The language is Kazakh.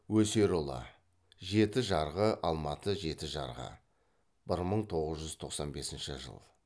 өсерұлы жеті жарғы алматы жеті жарғы бір мың тоғыз жүз тоқсан бесінші жыл